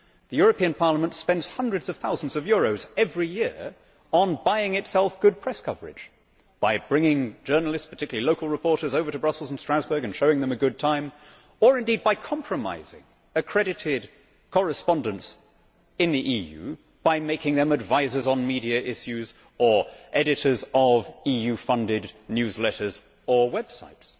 The European Parliament spends hundreds of thousands of euros every year on buying itself good press coverage by bringing journalists, particularly local reporters, over to Brussels and Strasbourg and showing them a good time, or indeed by compromising accredited correspondents in the EU by making them advisers on media issues or editors of EU funded newsletters or websites.